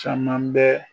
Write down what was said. Caman bɛ